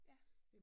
Ja